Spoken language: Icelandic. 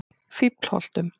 Fíflholtum